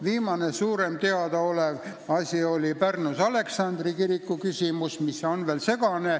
Viimane suurem teadaolev küsimus on seotud Narva Aleksandri kirikuga, see on veel segane.